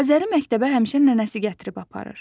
Azəri məktəbə həmişə nənəsi gətirib aparır.